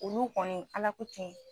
Olu kɔni ala ko tiɲɛ.